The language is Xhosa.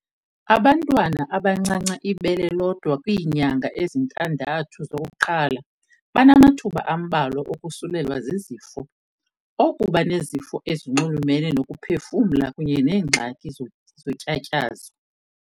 Abantwana abancanca ibele lodwa kwiinyanga ezintandathu zokuqala banamathuba ambalwa okusulelwa zizifo, okuba nezifo ezinxulumene nokuphefumla kunye neengxaki zotyatyazo.